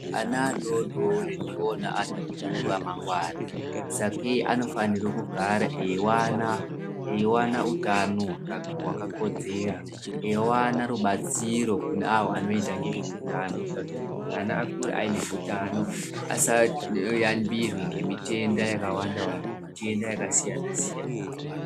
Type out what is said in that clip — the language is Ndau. Ana adodori ndiona anhu akuru amangwana sakei anofanirwe kugara eiwana, eiwana utano hwakakodzera, eiwana rubatsiro kune avo anoita ngezveutano ana akure ane utano asayamburikirwi ngemitenda yakawanda wanda ngemitenda yakasiyana siyana.